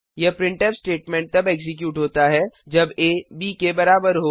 यह printf statement तब execute होता है जब aब के बराबर हो